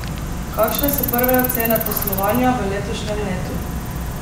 Kakšne so prve ocene poslovanja v letošnjem letu?